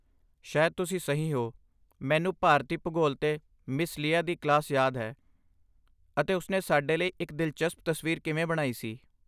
ਸ਼ਾਇਦ ਤੁਸੀਂ ਸਹੀ ਹੋ! ਮੈਨੂੰ ਭਾਰਤੀ ਭੂਗੋਲ 'ਤੇ ਮਿਸ ਲੀਆ ਦੀ ਕਲਾਸ ਯਾਦ ਹੈ, ਅਤੇ ਉਸਨੇ ਸਾਡੇ ਲਈ ਇੱਕ ਦਿਲਚਸਪ ਤਸਵੀਰ ਕਿਵੇਂ ਬਣਾਈ ਸੀ।